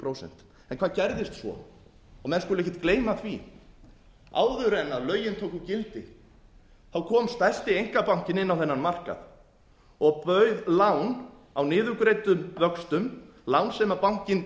prósent hvað gerðist svo menn skulu ekkert gleyma því að áður en lögin tóku gildi kom stærsti einkabankinn inn á þennan markað og bauð lán á niðurgreiddum vöxtum lán sem bankinn